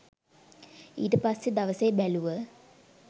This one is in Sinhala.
ඊට පස්සෙ දවසෙ බැලුව